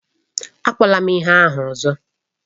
Akpọkwala m ihe ahụ ọzọ!